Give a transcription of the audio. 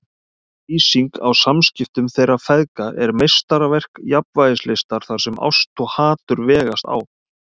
Lýsingin á samskiptum þeirra feðga er meistaraverk jafnvægislistar þar sem ást og hatur vegast á.